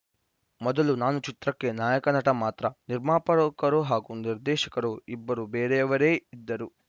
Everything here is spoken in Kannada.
ಮೊದಲು ನಾನು ಚಿತ್ರಕ್ಕೆ ನಾಯಕ ನಟ ಮಾತ್ರ ನಿರ್ಮಾಪಕರು ಹಾಗೂ ನಿರ್ದೇಶಕರು ಇಬ್ಬರು ಬೇರೆಯವರೇ ಇದ್ದರು